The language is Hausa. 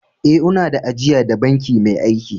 Eh, una da ajia da banki mai aiki.